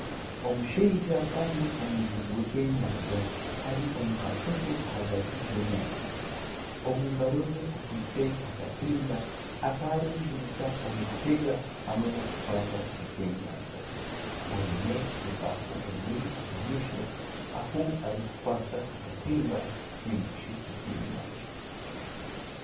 Omushaija kandi omujubi w'ebyenyanja ari omu kaato ke ahagati y'enyanja omu ngaro ze akwaitse akatimba akarikwejunisa omu kutega ebyenyanja aine ebaafu emuri omu maisho ahu arikukwatsa akatimba narishi ebyenyanja.